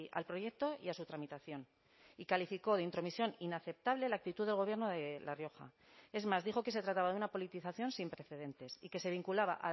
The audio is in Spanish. al proyecto y a su tramitación y calificó de intromisión inaceptable la actitud del gobierno de la rioja es más dijo que se trataba de una politización sin precedentes y que se vinculaba